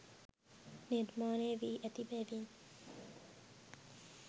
නිර්මාණය වී ඇති බැවින්